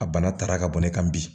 A bana tara ka bɔ ne kan bi